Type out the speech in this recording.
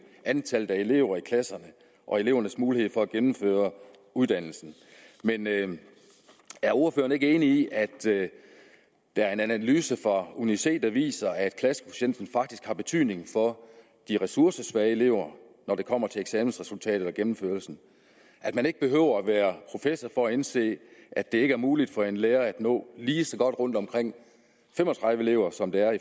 antallet af elever i klasserne og elevernes mulighed for at gennemføre uddannelsen men er ordføreren ikke enig i at der er en analyse fra uni c der viser at klassekvotienten faktisk har betydning for de ressourcesvage elever når det kommer til eksamensresultater og gennemførelsen at man ikke behøver være professor for at indse at det ikke er muligt for en lærer at nå lige så godt rundt omkring fem og tredive elever som det er at